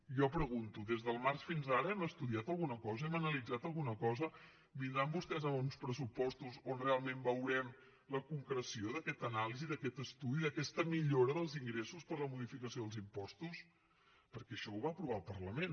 jo pregunto des del març fins ara hem estudiat alguna cosa hem analitzat alguna cosa vindran vostès amb uns pressupostos on realment veurem la concreció d’aquesta anàlisi d’aquest estudi d’aquesta millora dels ingressos per la modificació dels impostos perquè això ho va aprovar el parlament